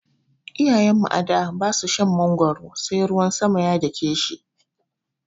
Iyayen mu a da ba su shan magwaro sai ruwan sama ya dake shi.